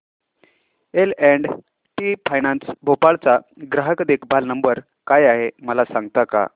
L and T finance Bhopal चा ग्राहक देखभाल नंबर काय आहे मला सांगता का